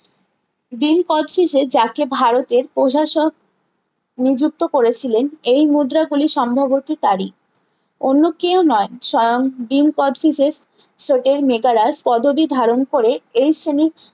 ভীম কোচটিজের যাকে ভারতের প্রশাসক নিযুক্ত করেছিলেন এই মুদ্রা গুলি সম্ভবত তারেই অন্য কেউ নয় স্বয়ং ভীম কোচটিজের নেকালাস পদবী ধারণ করে এই শ্রেণিক